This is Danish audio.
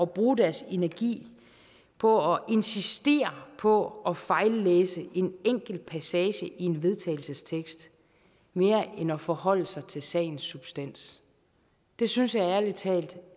bruge deres energi på at insistere på at fejllæse en enkelt passage i en vedtagelsestekst mere end at forholde sig til sagens substans det synes jeg ærlig talt